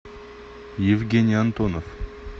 евгений антонов